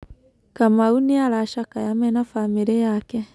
Kamau nĩ aracakaya mena bamĩrĩ yake.